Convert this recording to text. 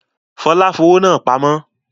Fọlá fowó náà pamọ́?